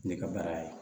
Ne ka baara ye